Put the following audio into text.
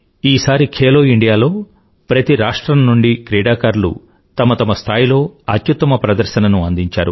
ఈసారి ఖేలో ఇండియాలో ప్రతి రాష్ట్రం నుండి క్రీడాకారులు తమతమ స్థాయిలో అత్యుత్తమ ప్రదర్శనను అందించారు